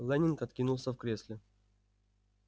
лэннинг откинулся в кресле